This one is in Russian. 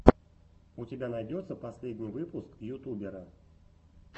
у тебя найдется последний выпуск ютубера